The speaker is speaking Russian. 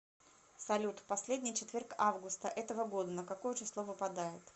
салют последний четверг августа этого года на какое число выпадает